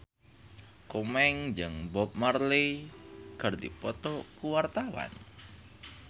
Komeng jeung Bob Marley keur dipoto ku wartawan